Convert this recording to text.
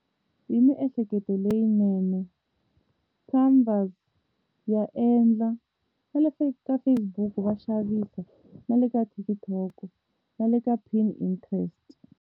Hi miehleketo ya endla na le ka Facebook va xavisa na le ka TikTok na le ka Pin Interest.